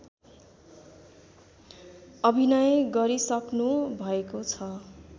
अभिनय गरिसक्नु भएको छ